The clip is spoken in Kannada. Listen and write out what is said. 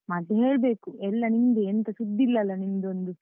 ಮತ್ತೆ ಹೇಳ್ಬೇಕು, ಎಲ್ಲ ನಿಮ್ದೇ ಎಂಥ ಸುದ್ದಿ ಇಲ್ಲ ಅಲ್ಲಾ ನಿಮ್ದೊಂದು.